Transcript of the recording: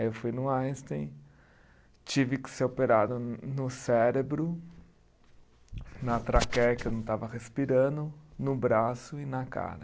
Aí eu fui no Einstein, tive que ser operado no cérebro, na traqueia que eu não estava respirando, no braço e na cara.